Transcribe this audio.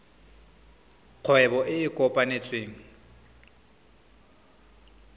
kgwebo e e kopetsweng e